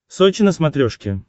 сочи на смотрешке